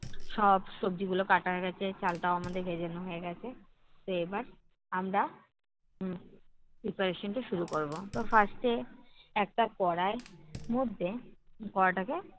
সব সবজিগুলো কাটা হয়ে গেছে, চালটাও আমাদের ভেজা নেওয়া হয়ে গেছে। তো এবার আমরা উহ preparation টা শুরু করবো। তো first এ একটা কড়াই মধ্যে, কড়াইটাকে